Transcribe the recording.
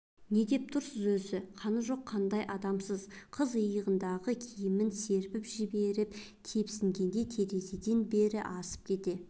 не деп тұрсыз өзі қаны жоқ қандай адамсыз қыз иығындағы киімін серпіп жіберіп тепсінгенде терезеден бері асып кете